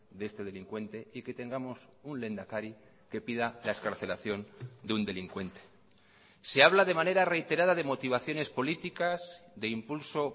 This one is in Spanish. de este delincuente y que tengamos un lehendakari que pida la excarcelación de un delincuente se habla de manera reiterada de motivaciones políticas de impulso